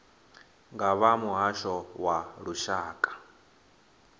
nga vha muhasho wa lushaka